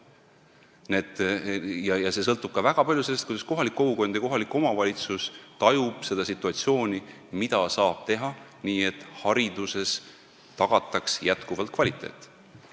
Nii et see kõik sõltub ka väga palju sellest, kuidas kohalik kogukond ja kohalik omavalitsus tajuvad seda situatsiooni, mida saab teha, selleks et hariduses jätkuvalt kvaliteeti tagada.